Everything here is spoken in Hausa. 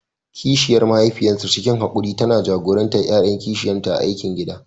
Kishiyar mahaifiyarsu, cikin haƙuri tana jagorantar ƴaƴan kishiyarta a aikin gida.